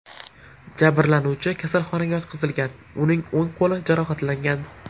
Jabrlanuvchi kasalxonaga yotqizilgan, uning o‘ng qo‘li jarohatlangan.